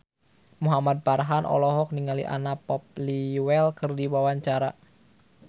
Muhamad Farhan olohok ningali Anna Popplewell keur diwawancara